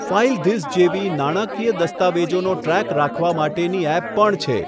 ફાઇલધિસ જેવી નાણાકીય દસ્તાવેજોનો ટ્રેક રાખવા માટેની ઍપ પણ છે.